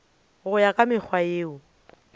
go ya ka mekgwa yeo